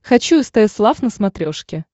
хочу стс лав на смотрешке